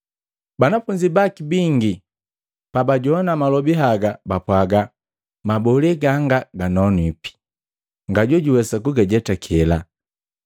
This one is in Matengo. Banafunzi baki bingi pabajowana malobi haga bapwaaga, “Mabole ganga ganonwipi. Nyajojuwesa kugajetakela?”